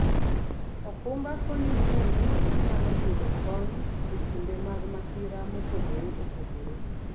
okumba konyi ng'eyo ni inyalo yudo kony e kinde mag masira mopogore opogore.